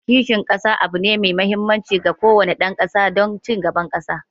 Kishin kasa abu ne mai mahimmanci ga kowane dan kasa don ci gaban kasa